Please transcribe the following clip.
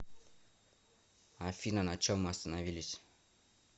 афина на чем мы остановились